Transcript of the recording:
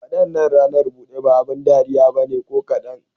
Wadannan ranar bude ba abin dariya ba ne ko kadan.